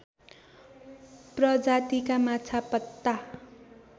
प्रजातिका माछा पत्ता